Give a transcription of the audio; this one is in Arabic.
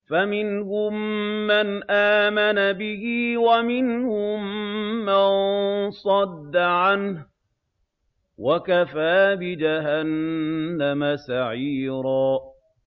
فَمِنْهُم مَّنْ آمَنَ بِهِ وَمِنْهُم مَّن صَدَّ عَنْهُ ۚ وَكَفَىٰ بِجَهَنَّمَ سَعِيرًا